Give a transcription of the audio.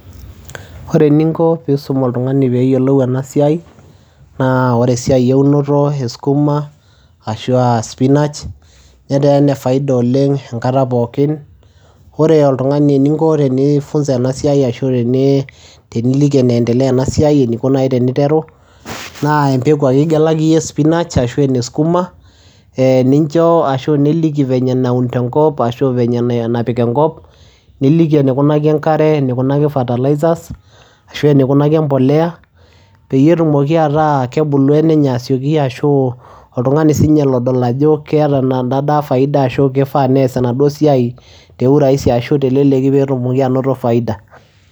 Ore eninko piisum oltung'ani peeyiolou ena siai naa ore esiai eunoto e skuma ashu aa spinach netaa ene faida oleng' enkata pookin. Ore oltung'ani eninko tenifunza ena siai ashu teni teniliki eneendelea ena siai eniko nai teniteru naa empeku ake igelaki iyie e spinach ashu ene sukuma ee nincho ashu niliki venye naun tenkop ashu venye napik enkop, niliki enikunaki enkare, enikunaki fertilizers ashu enikunaki empolea peyie etumoki ataa kebulu enenye asioki ashu oltung'ani siinye lodol ajo keeta ena daa faida ashu kifaa nees enaduo siai te urahisi ashu teleleki peetumoki anoto faida.